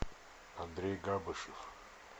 андрей габышев